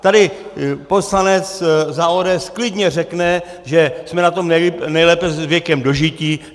Tady poslanec za ODS klidně řekne, že jsme na tom nejlépe s věkem dožití.